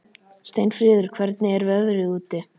Steinfríður, hvernig er veðrið úti?